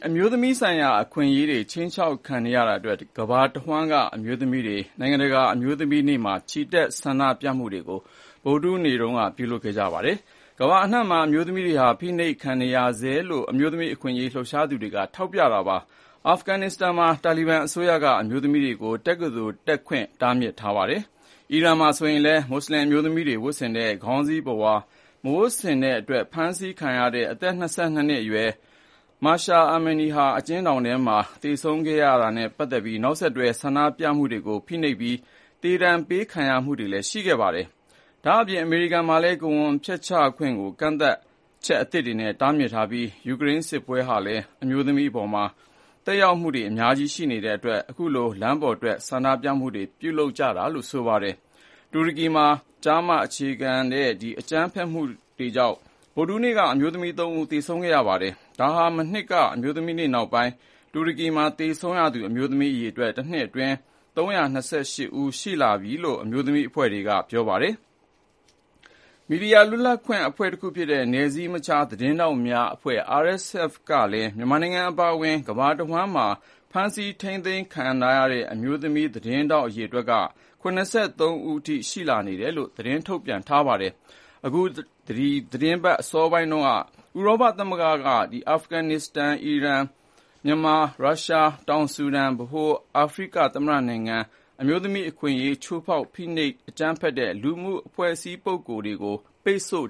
အမျိုးသမီးဆိုင်ရာ အခွင့်အရေးတွေ ခြိမ်းခြောက်ခံနေရတာအတွက် ကမ္ဘာတဝန်းက အမျိုးသမီးတွေဟာ မနေ့ဗုဒ္ဓဟူးနေ့မှာ နိုင်ငံတကာအမျိုးသမီးများနေ့မှာ ချီတက်ဆန္ဒပြခဲ့ကြပါတယ်။ ကမ္ဘာအနှံ့မှာ အမျိုးသမီးတွေဟာ ဖိနှိပ်ခံနေရဆဲဖြစ်ကြောင်း အမျိုးသမီးအခွင့်အရေးလှုပ်ရှားသူတွေက ထောက်ပြပါတယ်။ အာဖဂ္ဂန်နစ္စတန်မှာဆိုရင် တာလီဘန်အစိုးရက အမျိုးသမီးတွေကို တက္ကသိုလ်တက်ခွင့် တားမြစ်ထားပါတယ်။ အီရန်မှာလည်း မွတ်ဆလင်အမျိုးသမီးတွေဝတ်ဆင်တဲ့ ခေါင်းစီးပုဝါမဝတ်ဆင်တဲ့အတွက် ဖမ်းဆီးခံရတဲ့ အသက် ၂၂ နှစ်အရွယ် အမျိုးသမီးငယ် Mahsa Amini အကျဉ်းထောင်ထဲမှာ သေဆုံးခဲ့ရတာနဲ့ပတ်သက်တဲ့ နောက်ဆက်တွဲဆန္ဒပြမှုတွေကို ဖိနှိပ်နေပြီး သေဒဏ်ပေးခံရမှုတွေလည်းရှိနေပါတယ်။ ဒါ့ပြင် အမေရိကန်မှာလည်း ကိုယ်ဝန်ဖျက်ချခွင့်ကို ကန့်သတ်ချက်အသစ်တွေနဲ့ တားမြစ်ထားပြီး ယူကရိန်းစစ်ပွဲဟာလည်း အမျိုးသမီးတွေအပေါ်မှာ သက်ရောက်မှုတွေအများကြီးပဲ ရှိနေတဲ့အတွက်ကြောင့် အခုလို လမ်းပေါ်ထွက်ဆန္ဒပြမှုတွေကို ပြုလုပ်ကြတာလည်းဖြစ်ပါတယ်။ တူရကီမှာဆိုရင်လည်း ကျား-မ အခြေပြု အကြမ်းဖက်မှုကြောင့် ဗုဒ္ဓဟူးနေ့က အမျိုးသမီး ၃ ဦး သေဆုံးခဲ့ရပါတယ်။ ဒါဟာမနှစ်က အမျိုးသမီးနေ့ နောက်ပိုင်း တူရကီမှာသေဆုံးရသူ အမျိုးသမီးအရေအတွက်ဟာ တနှစ်အတွင်း ၃၂၈ ဦး ရှိလာပြီလို့ အမျိုးသမီးအဖွဲ့တွေက ပြောပါတယ်။ မီဒီယာလွတ်လပ်ခွင့်အဖွဲ့တခုဖြစ်တဲ့ နယ်စည်းမခြားသတင်းထောက်များ (RSF) ကလည်း မြန်မာနိုင်ငံအပါအဝင် ကမ္ဘာတဝန်းမှာ ဖမ်းဆီးထိန်းသိမ်းခံထားရတဲ့ အမျိုးသမီးသတင်းထောက်တွေ ၇၃ ဦး အထိ ရှိနေတယ်လို့ ထုတ်ပြနပါတယ်။ အခု အပတ်အစောပိုင်းက ဥရောပသမဂ္ဂက အာဖဂန်နစ္စတန်၊ အီရန်၊ မြန်မာ၊ ရုရှား၊ တောင်ဆူဒန်၊ ဗဟိုအာဖရိကသမ္မတနိုင်ငံက အမျိုးသမီးအခွင့်အရေး ချိုးဖောက်သူ၊ ဖိနှိပ်အကြိမ်းဖက်တဲ့ လူပုဂ္ဂိုလ်နဲ့ အဖွဲ့အစည်းတွေကို ပိတ်ဆို့